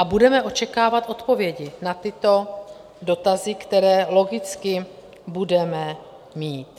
A budeme očekávat odpovědi na tyto dotazy, které logicky budeme mít.